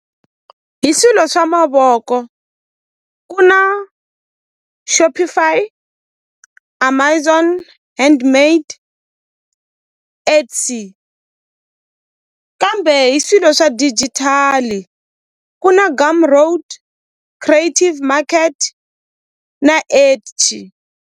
Hi swilo swa mavoko ku na Shopify Amazon Handmade X kambe hi swilo swa digital ku na Gumroad Creative market na .